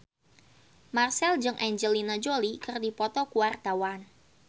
Marchell jeung Angelina Jolie keur dipoto ku wartawan